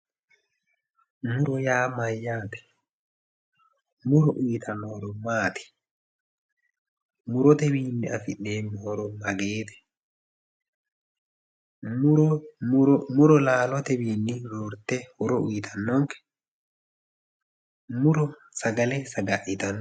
Muro yaa mayyaate? muro uuyitanno horo maati? murotwiinni afi'neemmo horo mageete? muro laalotewiinni roore horob uuyitannonke? muro sagale saga'litanno?